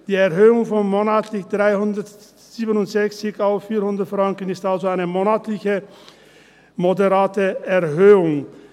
Die Erhöhung von monatlich 367 auf 400 Franken ist also eine monatliche moderate Erhöhung.